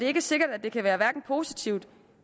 er sikkert at det kan være hverken positivt